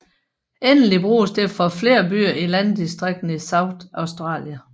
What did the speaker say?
Endeligt bruges det for flere byer i landdistrikterne i South Australia